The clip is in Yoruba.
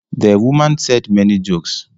The woman said many jokes